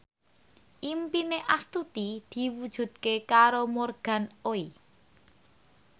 impine Astuti diwujudke karo Morgan Oey